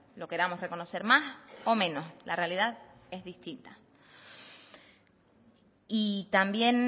lo queramos reconocer más o menos la realidad es distinta y también